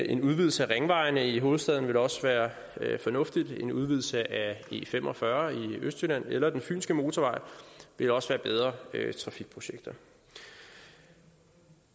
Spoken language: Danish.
en udvidelse af ringvejene i hovedstaden vil også være fornuftig en udvidelse af e45 i østjylland eller fynske motorvej vil også være bedre trafikprojekter